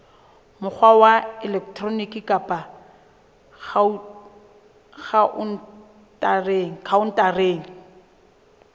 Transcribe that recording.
mokgwa wa elektroniki kapa khaontareng